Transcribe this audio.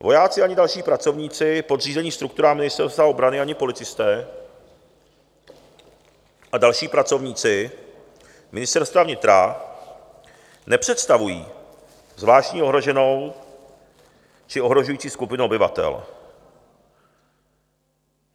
Vojáci ani další pracovníci podřízení strukturám Ministerstva obrany ani policisté a další pracovníci Ministerstva vnitra nepředstavují zvláštní ohroženou či ohrožující skupinu obyvatel.